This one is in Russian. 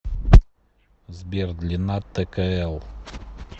сбер длина ткл